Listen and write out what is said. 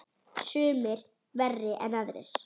Sumir verri en aðrir.